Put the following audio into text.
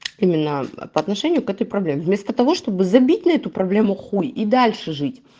именно по отношению к этой проблеме вместо того чтобы забить на эту проблему хуй и дальше жить